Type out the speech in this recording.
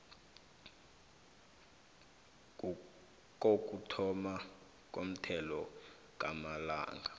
kokuthoma komthelo kasolanga